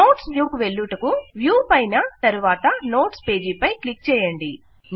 notes view కు వెళ్ళుటకు view పైన తరువాత నోట్స్ పేజ్ పై క్లిక్ చేయండి